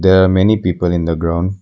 There are many people in the ground.